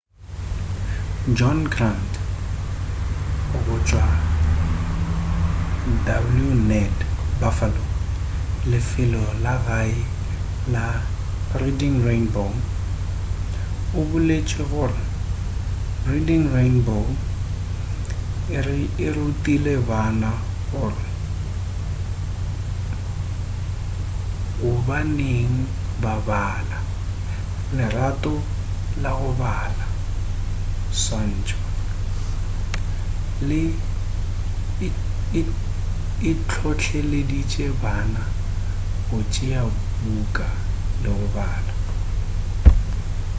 john grant go tšwa wned buffalo lefelo la gae la reading rainbow o boletše gore reading rainbow e rutile bana gore gobaneng ba bala,... lerato la go bala — [swantšho] e hlohleleditše bana go tšea buka le go bala.